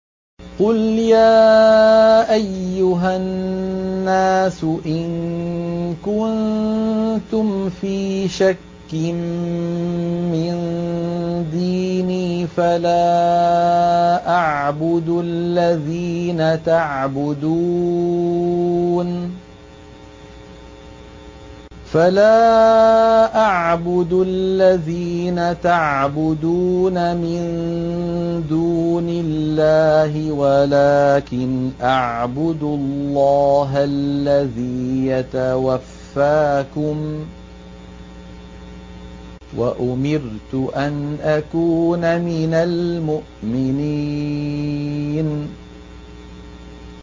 قُلْ يَا أَيُّهَا النَّاسُ إِن كُنتُمْ فِي شَكٍّ مِّن دِينِي فَلَا أَعْبُدُ الَّذِينَ تَعْبُدُونَ مِن دُونِ اللَّهِ وَلَٰكِنْ أَعْبُدُ اللَّهَ الَّذِي يَتَوَفَّاكُمْ ۖ وَأُمِرْتُ أَنْ أَكُونَ مِنَ الْمُؤْمِنِينَ